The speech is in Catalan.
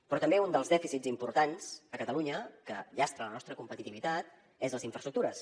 però també un dels dèficits importants a catalunya que llastra la nostra competitivitat són les infraestructures